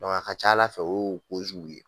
a ka ca Ala fɛ o y'o ye